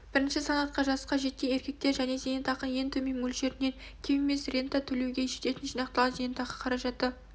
бірінші санатқа жасқа жеткен еркектер және зейнетақының ең төмен мөлшерінен кем емес рента төлеуге жететін жинақталған зейнетақы қаражаты